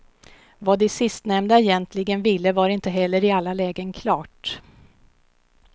Vad de sistnämnda egentligen ville var inte heller i alla lägen klart.